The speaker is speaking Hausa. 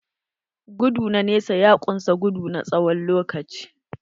Gudu na nesa ya kunsa gudu na tsawon lokaci.